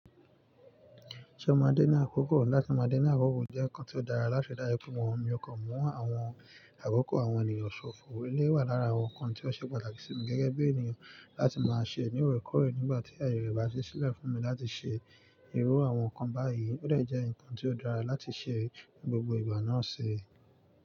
Ṣé o máa dína àkókò? Láti máa dína àkókò jẹ́ nǹkan tí ó dára láti dára pẹ́ mọ́ wọn. Mo kàn mú àwọn àkókò àwọn ènìyàn. Ṣòfò eléyìí wà lára àwọn nǹkan tí ó ṣe pàtàkì sí mi gẹ́gẹ́ bí ènìyàn láti máa ṣe. Ní òòrèkóòrè nígbà tí ayé rẹ̀ bá ṣí sílẹ̀ fún mi láti ṣe ìrù àwọn nǹkan báyìí. Ó dẹ̀ jẹ́ nǹkan tí ó dára láti ṣe gbogbo ìgbà náà ṣi.